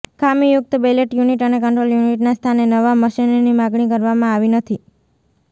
ખામીયુકત ballot unit અને control યુનિટના સ્થાને નવા મશીનની માગણી કરવામાં આવી નથી